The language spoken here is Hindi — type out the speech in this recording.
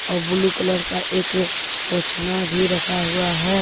आउ ब्लू कलर का एक पोछना भी रखा हुआ है।